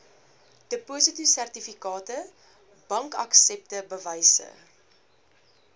depositosertifikate bankaksepte bewyse